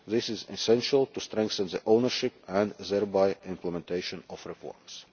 programmes. This is essential to strengthen the ownership, and thereby implementation,